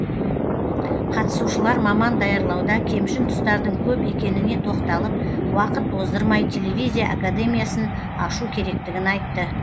қатысушылар маман даярлауда кемшін тұстардың көп екеніне тоқталып уақыт оздырмай телевизия академиясын ашу керектігін айтты